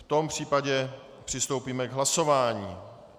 V tom případě přistoupíme k hlasování.